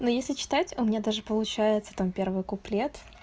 ну если читать у меня даже получается там первый куплет